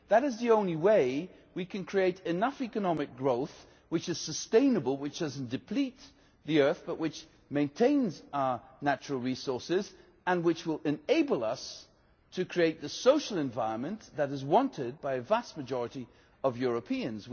That is the only way we can create enough economic growth which is sustainable, which does not deplete the Earth but which maintains our natural resources and which will enable us to create the social environment that is wanted by the vast majority of Europeans.